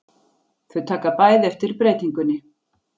Þau taka bæði eftir breytingunni.